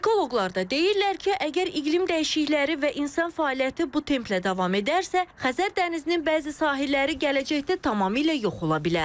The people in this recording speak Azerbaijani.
Ekoloqlar da deyirlər ki, əgər iqlim dəyişiklikləri və insan fəaliyyəti bu templə davam edərsə, Xəzər dənizinin bəzi sahilləri gələcəkdə tamamilə yox ola bilər.